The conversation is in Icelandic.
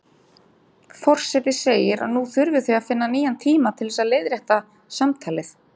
Forseti segir að nú þurfi þau að finna nýjan tíma til þess að leiðrétta samtalið.